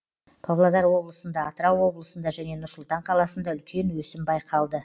павлодар облысында атырау облысында және нұр сұлтан қаласында үлкен өсім байқалды